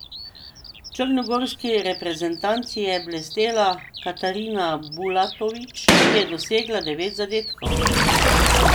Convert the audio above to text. V črnogorski reprezentanci je blestela Katarina Bulatović, ki je dosegla devet zadetkov.